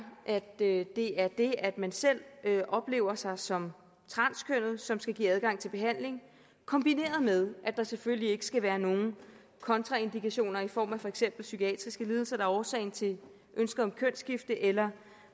at det er det at man selv oplever sig som transkønnet som skal give adgang til behandling kombineret med at der selvfølgelig ikke skal være nogen kontraindikationer i form af for eksempel psykiatriske lidelser der er årsagen til ønsket om kønsskifte eller